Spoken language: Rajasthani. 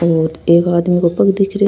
और एक आदमी को पग दिख रो है।